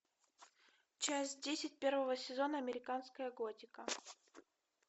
часть десять первого сезона американская готика